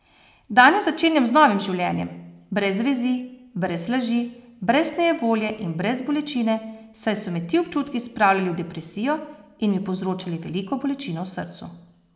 Danes začenjam z novim življenjem, brez vezi, brez laži, brez nejevolje in brez bolečine, saj so me ti občutki spravljali v depresijo in mi povzročali veliko bolečino v srcu.